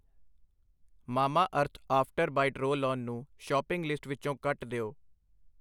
Mamaearth after bite roll on ਨੂੰ shopping list ਵਿੱਚੋਂ ਕੱਟ ਦਿਓ।